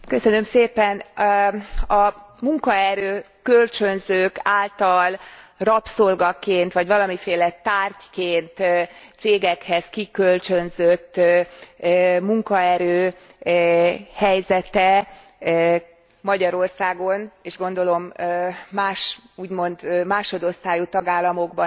A munkaerő kölcsönzők által rabszolgaként vagy valamiféle tárgyként cégekhez kikölcsönzött munkaerő helyzete Magyarországon és gondolom más, úgymond másodosztályú tagállamokban is kriminális.